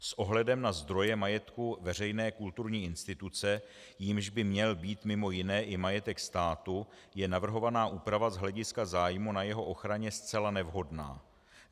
S ohledem na zdroje majetku veřejné kulturní instituce, jímž by měl být mimo jiné i majetek státu, je navrhovaná úprava z hlediska zájmu na jeho ochraně zcela nevhodná.